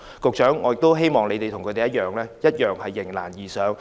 局長，我希望官員與他們一樣迎難而上。